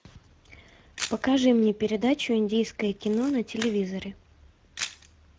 покажи мне передачу индийское кино на телевизоре